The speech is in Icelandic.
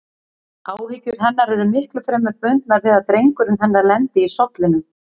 Áhyggjur hennar eru miklu fremur bundnar við að drengurinn hennar lendi í sollinum.